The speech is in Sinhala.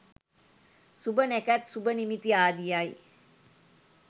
සුභ නැකැත් සුභ නිමිති ආදියයි.